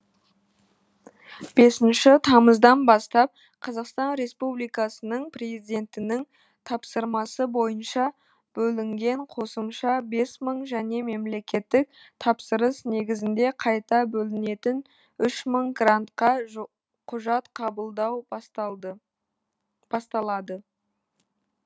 бесінші тамыздан бастап қазақстан республикасының президентінің тапсырмасы бойынша бөлінген қосымша бес мың және мемлекеттік тапсырыс негізінде қайта бөлінетін үш мың грантқа құжат қабылдау басталады